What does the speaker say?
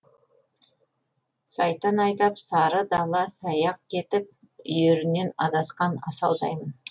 сайтан айдап сары дала саяқ кетіп үйірінен адасқан асаудаймын